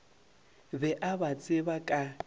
be a ba tseba ka